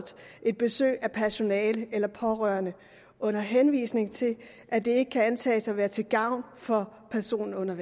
et besøg af personale eller pårørende under henvisning til at det ikke kan antages at være til gavn for personen under